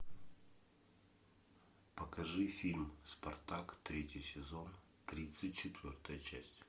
покажи фильм спартак третий сезон тридцать четвертая часть